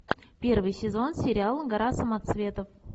первый сезон сериала гора самоцветов